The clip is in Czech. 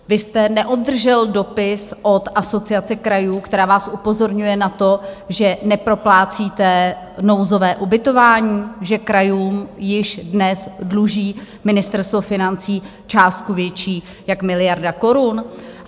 Vy jste neobdržel dopis od Asociace krajů, která vás upozorňuje na to, že neproplácíte nouzové ubytování, že krajům již dnes dluží Ministerstvo financí částku větší jak miliardu korun?